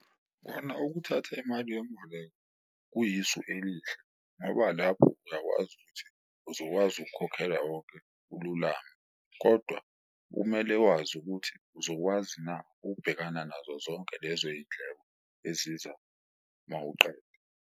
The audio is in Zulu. Kona ukuthatha imali yemboleko kuyisu elihle ngoba lapho uyakwazi ukuthi uzokwazi ukukhokhela wonke ululame, kodwa kumele wazi ukuthi uzokwazi na ukubhekana nazo zonke lezo yindleko eziza mawuqeda.